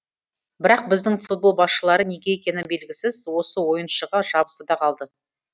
бірақ біздің футбол басшылары неге екені белгісіз осы ойыншыға жабысты да қалды